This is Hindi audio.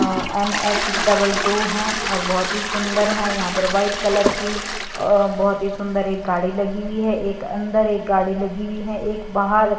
अ एन_एच डबल टू है और बहोत ही सुंदर है यहां पर वाइट कलर की अ बहोत ही सुंदर एक गाड़ी लगी हुई है एक अंदर एक गाड़ी लगी हुई है एक बाहर--